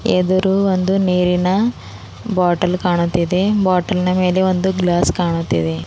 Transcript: ಎದುರು ಒಂದು ನೀರಿನ ಬಾಟಲ್ ಕಾಣುತ್ತಿದೆ ಬಾಟಲಿನ ಮೇಲೆ ಒಂದು ಗ್ಲಾಸ್ ಕಾಣುತ್ತಿದೆ.